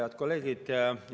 Head kolleegid!